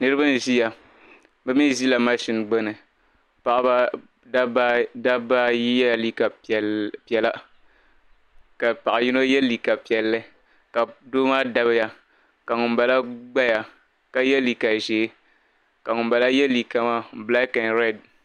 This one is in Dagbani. Niriba n-ʒia. Bɛ mi ʒila mashin gbini. Dabba ayi yɛla liika piɛla ka paɣ' yino ye liika piɛlli ka doo maa dabiya ka ŋumbala gbaya ka ye liika ʒee ka ŋumbala ye liika maa bilaaki mini rɛdi.